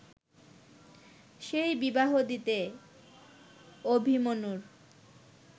সেই বিবাহ দিতে অভিমন্যুর